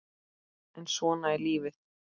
en svona er lífið.